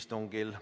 istungil.